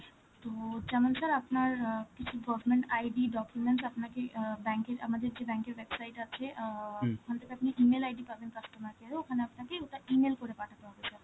তো, যেমন sir আপনার অ্যাঁ কিছু government ID, documents আপনাকে অ্যাঁ bank এ~ আমাদের যে bank এর website আছে, অ্যাঁ ওখান থেকে আপনি E-mail ID পারবেন customer care এ, ওখানে আপনাকে ওটা E-mail করে পাঠাতে হবে sir.